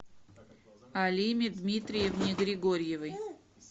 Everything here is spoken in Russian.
алиме дмитриевне григорьевой